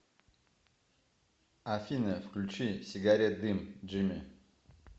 афина включи сигарет дым джими